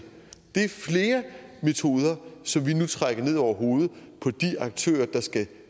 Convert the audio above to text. det er flere metoder som vi nu trækker ned over hovedet på de aktører der skal